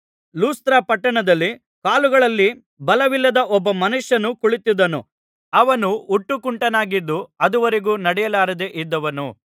ಲುಸ್ತ್ರ ಪಟ್ಟಣದಲ್ಲಿ ಕಾಲುಗಳಲ್ಲಿ ಬಲವಿಲ್ಲದ ಒಬ್ಬ ಮನುಷ್ಯನು ಕುಳಿತಿದ್ದನು ಅವನು ಹುಟ್ಟುಕುಂಟನಾಗಿದ್ದು ಅದುವರೆಗೂ ನಡೆಯಲಾರದೆ ಇದ್ದವನು